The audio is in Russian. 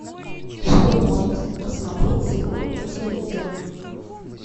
что можно посмотреть сегодня по телевизору